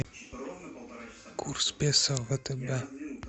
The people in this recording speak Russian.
курс песо в втб